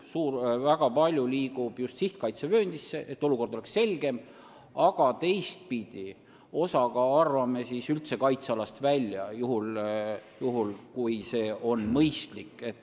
Väga palju alasid liigub just sihtkaitsevööndisse, et olukord oleks selgem, aga teistpidi arvame osa üldse kaitsealast välja, juhul kui see mõistlik on.